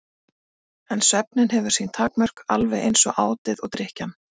En svefninn hefur sín takmörk- alveg eins og átið og drykkjan.